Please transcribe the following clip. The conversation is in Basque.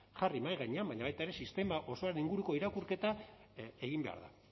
jarri mahai gainean baina baita ere sistema osoaren inguruko irakurketa egin behar da